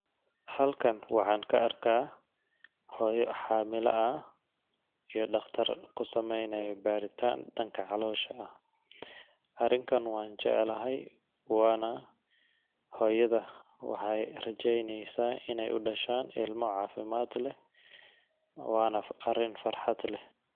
Halkan waxaan kaarkah hoyo xamila ah iyo daqtar kusameynayo baritan danka calosha ah. Arinkan wanjeclahay, wa na hoyadha waxey rajeynesaah in ay udashan ilmo cafimad leh, wa na arin farxad leh.